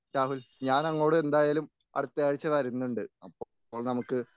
രാഹുൽ ഞാനങ്ങോട് എന്തായാലും അടുത്ത ആഴ്ച വരുന്നുണ്ട്. അപ്പോൾ നമുക്ക്